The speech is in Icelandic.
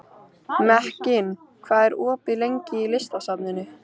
Mekkin, hvað er opið lengi í Listasafninu?